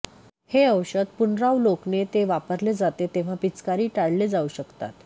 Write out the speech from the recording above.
हे औषध पुनरावलोकने ते वापरले जाते तेव्हा पिचकारी टाळले जाऊ शकतात